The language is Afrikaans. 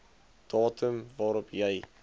datum waarop jy